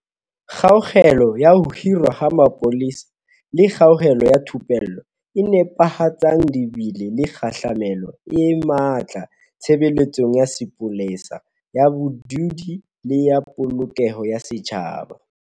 Kgaello ya ho hirwa ha mapolesa le kgaello ya thupello e nepahetseng di bile le kgahlamelo e matla tshebeletsong ya sepolesa ya badudi le ya Polokeho ya Setjhaba.